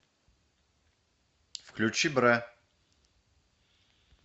включи бра